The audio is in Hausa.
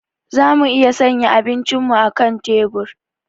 Za mu iya sanya abincinmu a kan tebur.